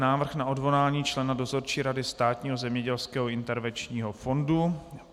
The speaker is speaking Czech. Návrh na odvolání člena Dozorčí rady Státního zemědělského intervenčního fondu